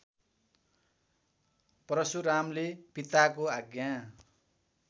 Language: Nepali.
परशुरामले पिताको आज्ञा